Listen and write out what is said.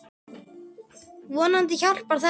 Vonandi hjálpar þetta.